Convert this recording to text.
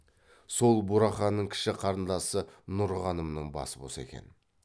сол бураханның кіші қарындасы нұрғанымның басы бос екен